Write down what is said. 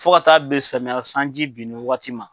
Fɔ ka t'a ben samiya sanji binni waati ma